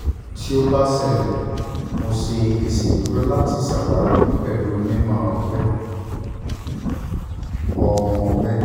ti o ba ṣẹlẹ mo ṣe iṣeduro lati ṣawari pẹlu onimọ-ọgbẹ ọmọ-ọgbẹ